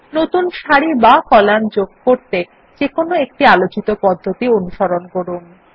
নতুন সারি বা কলাম যোগ করতে যেকোনো একটি আলোচিত পদ্ধতি অনুসরণ করুন